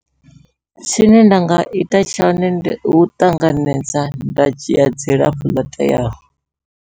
Tshine nda nga ita tshone ndi u ṱanganedza nda dzhia dzilafho ḽo teaho.